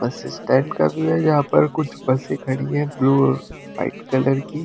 बस स्टैंड का व्यू है जहां पर कुछ बसे खड़ी है ब्लू और वाइट कलर की--